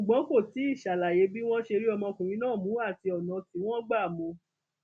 ṣùgbọn kò tí ì ṣàlàyé bí wọn ṣe rí ọmọkùnrin náà mú àti ọnà tí wọn gbá mú un